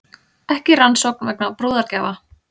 Ekki rannsókn vegna brúðargjafa